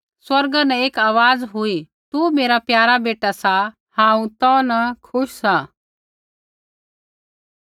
स्वर्गा न एक आवाज़ हुई तू मेरा प्यारा बेटा सा हांऊँ तौ न खुश सा